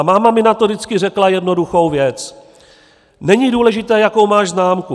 A máma mi na to vždycky řekla jednoduchou věc: "Není důležité, jakou máš známku.